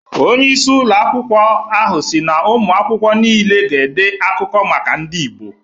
Onye isi ụlọ akwụkwọ ahụ si na ụmụakwụkwọ niile ga-ede akụkọ maka ndị Igbo